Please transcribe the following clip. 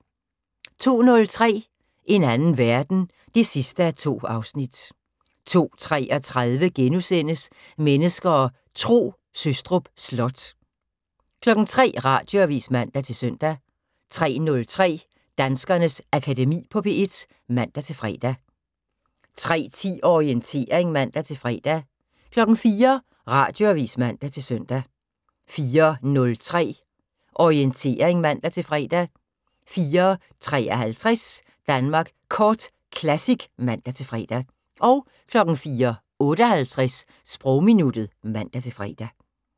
02:03: En anden verden 2:2 02:33: Mennesker og Tro: Sostrup Slot * 03:00: Radioavis (man-søn) 03:03: Danskernes Akademi på P1 (man-fre) 03:10: Orientering (man-fre) 04:00: Radioavis (man-søn) 04:03: Orientering (man-fre) 04:53: Danmark Kort Classic (man-fre) 04:58: Sprogminuttet (man-fre)